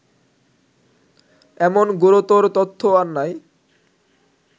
এমন গুরুতর তত্ত্ব আর নাই